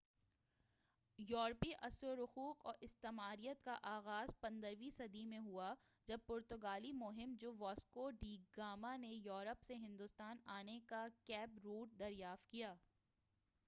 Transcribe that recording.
یوروپی اثرو رسوخ اور استعماریت کا آغاز 15ویں صدی میں ہوا جب پرتگالی مہم جو واسکو ڈی گاما نے یوروپ سے ہندوستان آنےکا کیپ روٹ دریافت کیا